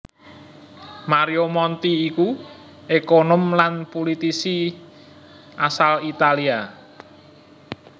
Mario Monti iku ékonom lan pulitisi asal Italia